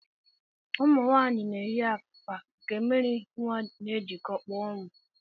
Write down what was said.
Ụmụnwaanyị na-eyi akwa nke mmiri nnwa na-ejikọ, kpụọ nnwa